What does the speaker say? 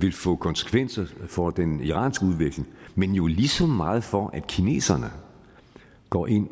vil få konsekvenser for den iranske udvikling men jo lige så meget for at kineserne går ind